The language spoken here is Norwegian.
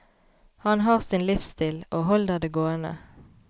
Han har sin livsstil, og holder det gående.